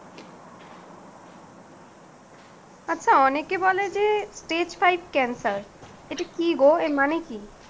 আচ্ছা অনেকে বলে যে stage five cancer এটা কি গো, এর মানে কি?